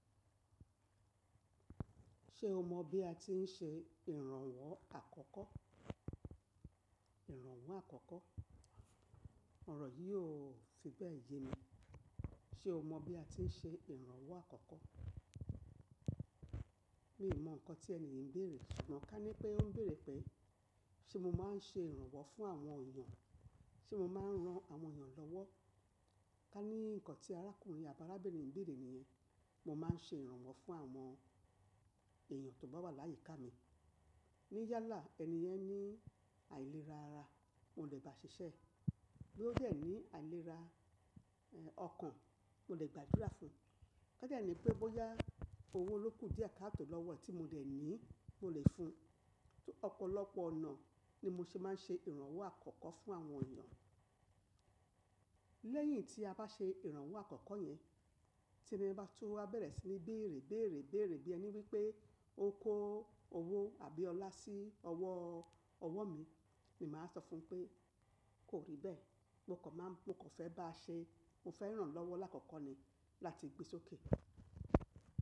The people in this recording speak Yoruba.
Ṣé o mọ bí a ti ń ṣe ìrànwọ́ àkọ́kọ́? Ìrànwọ́ àkọ́kọ́. Òrò yì ò fi bẹ́ẹ̀ ye mi. Ṣé o mọ bí a ti ń ṣe ìrànwọ́ àkọ́kọ́? Mi ò mọ ǹkan tí ènìyàn ń bèrè, ṣùgbọ́n ká ní pé ó ń bèrè pé ṣe mo máa ń ṣe ìrànwọ́ fún àwọn èyàn? Ṣe mo máa ń ran àwọn èyàn lọ́wọ́? Ká ní ǹkan tí arákùnrin àbáarábìnrin ń bèrè nìyẹn. Mo máa ń ṣe ìrànwọ́ fún àwọn èyàn tó bá wà láyíká mi. Níyálá éni yẹn ní àìlera ara, mo le bá ṣiṣẹ́. Bí ó jẹ́ ní àìlera ọkàn, mo le gbàdúrà fún un. Ká de ní pé bóyá owó ló kù díẹ̀ ká tò lọ́wọ́ tí mo dẹ̀ ní, mo le fun. Ọ̀pọ̀lọpọ̀ ọ̀nà ni mo ṣe máa ń ṣe ìrànwọ́ àkọ́kọ́ fún àwọn èèyàn. Lẹ́yìn tí a bá ṣe ìrànwọ́ àkọ́kọ́ yẹn, tí ẹni bá tún wá bẹ̀rẹ̀ sí ní béèrè, béèrè, béèrè bí ẹni wípé ó ń kó owó àbí ọlá sí ọwọ́, ọwọ́ mi, mi máa sọ fún pé kó rí bẹ́ẹ̀, mo kò máa mo kò fẹ́ bá a ṣe, mo fẹ́ ràn lọ́wọ́ lákoko ni láti gbe sókè.